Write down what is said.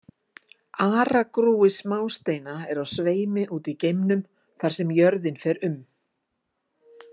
Aragrúi smásteina er á sveimi úti í geimnum þar sem jörðin fer um.